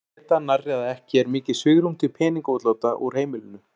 Má af þessu geta nærri að ekki er mikið svigrúm til peningaútláta úr heimilinu.